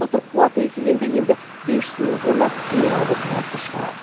былтыр қуаты еселенді енді бес жүз мың тонна минералды тыңайтқыш шығарады